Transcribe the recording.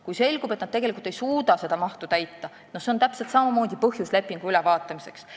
Kui selgub, et nad tegelikult ei suuda seda mahtu täita, siis see on täpselt samamoodi põhjus lepingu ülevaatamiseks.